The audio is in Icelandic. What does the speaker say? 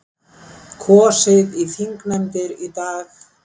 Kosið í þingnefndir í dag